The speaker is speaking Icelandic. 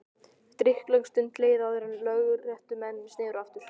Drykklöng stund leið áður en lögréttumenn sneru aftur.